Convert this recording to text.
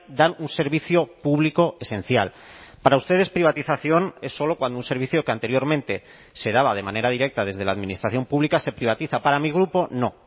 dan un servicio público esencial para ustedes privatización es solo cuando un servicio que anteriormente se daba de manera directa desde la administración pública se privatiza para mi grupo no